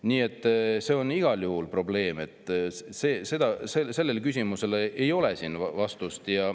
Nii et see on igal juhul probleem, sellele küsimusele ei ole vastust.